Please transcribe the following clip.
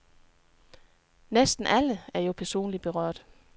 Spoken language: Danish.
Næsten alle er jo personligt berørt.